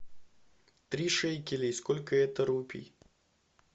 три шекелей сколько это рупий